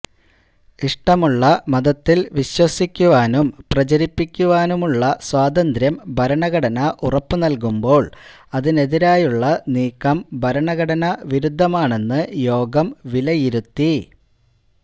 ഇഷ്ടമുള്ള മതത്തിൽ വിശ്വസിക്കുവാനും പ്രചരിപ്പിക്കുവാനുമുള്ള സ്വാതന്ത്ര്യം ഭരണഘടന ഉറപ്പ് നൽകുമ്പോൾ അതിനെതിരായുള്ള നീക്കം ഭരണഘടനാ വിരുദ്ധമാണെന്ന് യോഗം വിലയിരുത്തി